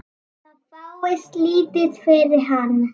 Það fáist lítið fyrir hann.